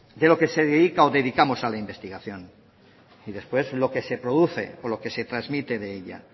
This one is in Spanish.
de lo que se dedica o dedicamos a la investigación y después lo que se produce o lo que se transmite de ella